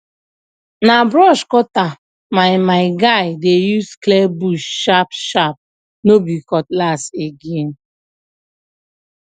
na brush cutter my my guy dey use clear bush sharp sharp no be cutlass again